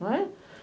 Não é?